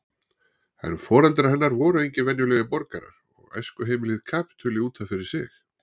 En foreldrar hennar voru engir venjulegir borgarar og æskuheimilið kapítuli út af fyrir sig.